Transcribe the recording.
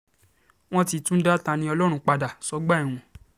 wọ́n ti tún dá ta-ní-ọlọ́run padà um sọ́gbà ẹ̀wọ̀n